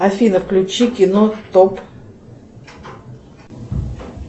афина включи кино топ